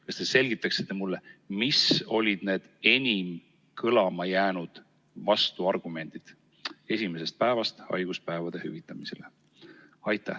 Kas te selgitaksite mulle, mis olid need enim kõlama jäänud vastuargumendid esimesest päevast haiguspäevade hüvitamisele?